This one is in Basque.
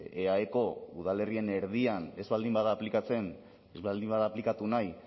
eaeko udalerrien erdian ez baldin bada aplikatzen ez baldin bada aplikatu nahi